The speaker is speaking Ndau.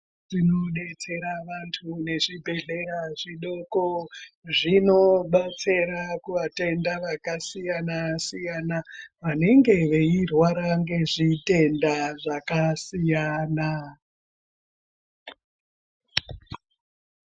Tinodetsera vantu neZvibhedhlera zvidoko zvinobatsira kuvatenda vakadiyana siyana vanenge veirwara ngezvitenda Zvakasiyana.